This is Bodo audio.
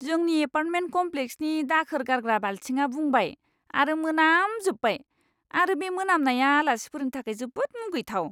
जोंनि एपार्टमेन्ट कम्प्लेक्सनि दाखोर गारग्रा बालथिङा बुंबाय आरो मोनामजोब्बाय आरो बे मोनामनाया आलासिफोरनि थाखाय जोबोद मुगैथाव!